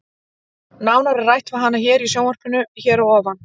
Nánar er rætt við hana hér í sjónvarpinu hér að ofan.